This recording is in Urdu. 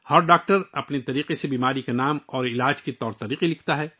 ہر ڈاکٹر بیماری کا نام اور علاج کے طریقے اپنے اپنے انداز میں لکھتا ہے